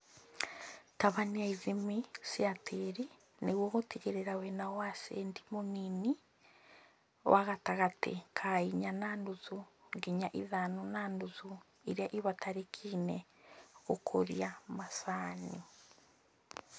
Tabania ithimi cia tĩri nĩguo gũtigĩrĩra wĩna ũacidi mũnini wa gatagatĩini ka inya na nuthunginya ithano na nuthu iria ibatarĩkaine gũkũria macani